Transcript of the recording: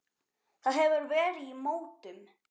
Það hefur verið í mótun.